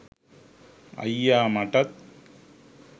අයියා මටත්